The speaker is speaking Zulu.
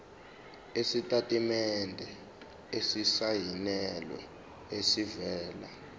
isitatimende esisayinelwe esivela